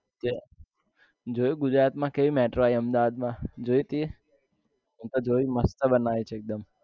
જે જોયું ગુજરાત માં કેવી metro આવી અહમદાવાદમાં જોયું તે મેં તો જોયું મસ્ત બનાવ્યું છે એક દમ